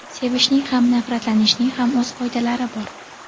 Sevishning ham nafratlanishning ham o‘z qoidalari bor.